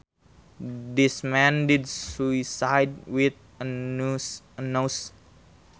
This man did suicide with a noose